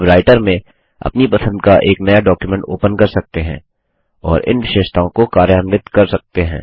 आप राइटर में अपनी पसंद का एक नया डॉक्युमेंट ओपन कर सकते हैं और इन विशेषताओं को कार्यान्वित कर सकते हैं